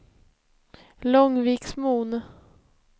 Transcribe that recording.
Långviksmon